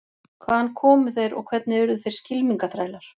Hvaðan komu þeir og hvernig urðu þeir skylmingaþrælar?